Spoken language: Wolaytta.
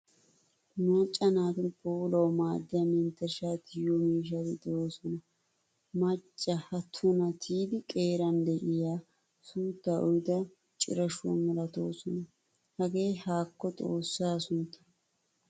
Macca naatu puulawu maaddiyaa menttershsha tiyiyo miishshati deosona. Macca ha tuna tiyidi qeeraan de'iyaa suuttaa uyida cirashuwaa milatoosona. Hagee haakko xoossaa sunttan.